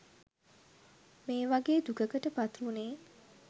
මේ වගේ් දුකකට පත්වුණේ.